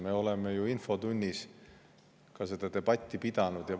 Me oleme ju infotunnis ka seda debatti pidanud.